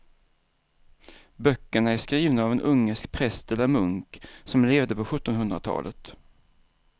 Böckerna är skrivna av en ungersk präst eller munk som levde på sjuttonhundratalet.